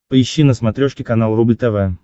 поищи на смотрешке канал рубль тв